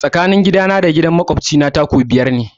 Tsakanin gidana da gidan makwabci na 'taku' biyar ne.